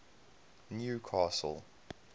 newcastle